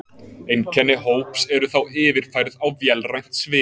Einkenni hóps eru þá yfirfærð á vélrænt svið.